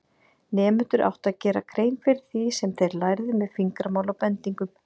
Nemendur áttu að gera grein fyrir því sem þeir lærðu með fingramáli og bendingum.